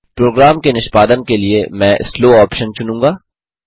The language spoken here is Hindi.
प्रोग्राम के निष्पादन के लिए मैं स्लो ऑप्शन चुनूँगा